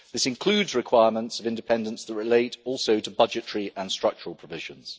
This includes requirements of independence that relate also to budgetary and structural provisions.